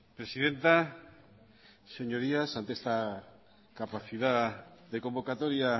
presidenta señorías ante esta capacidad de convocatoria